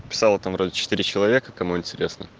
писала там вроде четыре человека кому интересно